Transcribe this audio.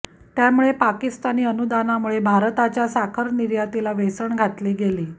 त्यामुळे पाकिस्तानी अनुदानामुळे भारताच्या साखर निर्यातीला वेसण घातली गेली